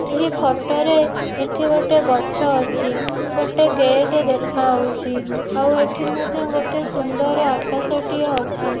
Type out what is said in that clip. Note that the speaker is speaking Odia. ଏହି ଫଟ ରେ ଏଠି ଗୋଟେ ଗଛ ଅଛି। ଗୋଟେ ଗେଟ୍ ଦେଖା ହୋଉଛି। ଆଉ ଏଠି ମଧ୍ୟ ଗୋଟେ ସୁନ୍ଦର ଆକାଶ ଟିଏ ଅଛି।